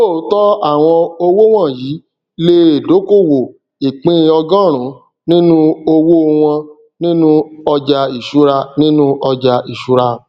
lóòtọ àwọn owó wọnyii le è dókòwò ìpín ọgọrùn nínú owó wọn nínú ọjà ìṣúra nínú ọjà ìṣúra